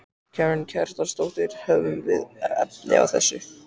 Karen Kjartansdóttir: Höfum við efni á þessu?